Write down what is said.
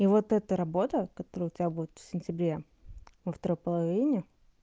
и вот это работа которая у тебя будет в сентябре во второй половине